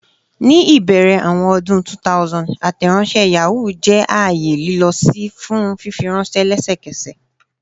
Ni ibẹrẹ awọn ọdun 2000, Ateronshe Yahoo jẹ aaye lilọ-si fun fifiranṣẹ lẹsẹkẹsẹ.